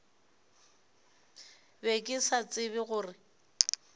be ke sa tsebe gore